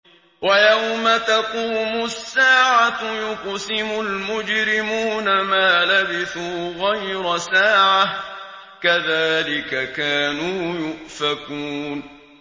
وَيَوْمَ تَقُومُ السَّاعَةُ يُقْسِمُ الْمُجْرِمُونَ مَا لَبِثُوا غَيْرَ سَاعَةٍ ۚ كَذَٰلِكَ كَانُوا يُؤْفَكُونَ